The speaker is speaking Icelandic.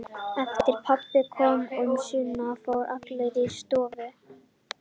Eftir að pabbi kom að sunnan fóru allir inn í stofu.